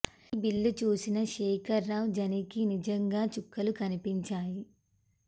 ఈ బిల్లు చూసిన శేఖర్ రావ్ జనీకి నిజంగా చుక్కలు కనిపించాయి